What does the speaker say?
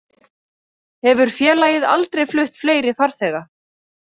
Hefur félagið aldrei flutt fleiri farþega